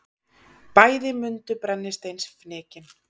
Bæði mundu brennisteinsfnykinn.